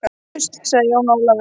Uss, sagði Jón Ólafur.